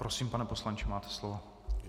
Prosím, pane poslanče, máte slovo.